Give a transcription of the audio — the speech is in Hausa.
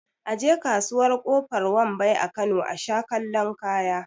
A je kasuwar kofar wambai a Kano asha kallon kaya